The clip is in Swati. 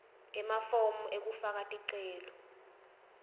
emafomu ekufaka ticelo